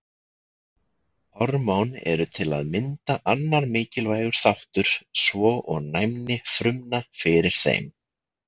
Hormón eru til að mynda annar mikilvægur þáttur svo og næmni frumna fyrir þeim.